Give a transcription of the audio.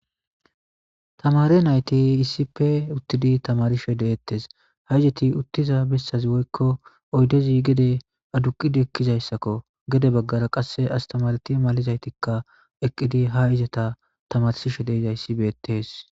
Tamare nayti iisippe uttidi tamarishe deettes ha izeti uttiza bessazi woykko oydezi gede aduqid ekkizayssakko gede baggara qasse astamareti malizaytikka eqqidi ha izata tamarsishe deizayssi beettees